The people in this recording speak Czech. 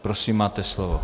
Prosím, máte slovo.